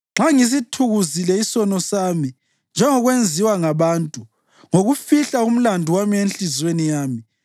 nxa ngisithukuzile isono sami njengokwenziwa ngabantu, ngokufihla umlandu wami enhliziyweni yami